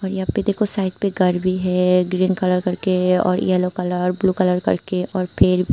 यहां पे देखो साइड पे घर भी है ग्रीन कलर करके और येलो कलर ब्लू कलर करके और पेर भी।